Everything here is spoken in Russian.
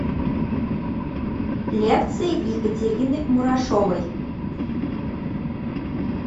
лекции екатерины мурашовой